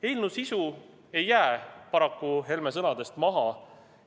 Eelnõu sisu ei jää paraku Helme sõnadest maha.